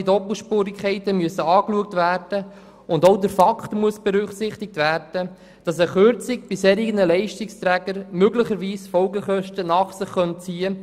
Allfällige Doppelspurigkeiten müssen angeschaut, und auch der Fakt muss berücksichtigt werden, dass eine Kürzung bei solchen Leistungsträgern möglicherweise Folgekosten nach sich zieht.